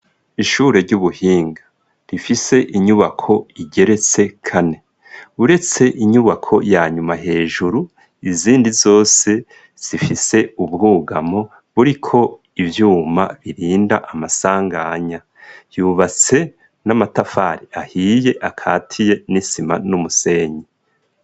Ishure ry'ubuhinga rifise inyubako igeretse kane uretse inyubako yanyuma hejuru izindi zose zifise ubwugamo buriko ivyuma birinda amasanganya yubatse n'amatafari ahiye akatiye n'isima n'umusenyi.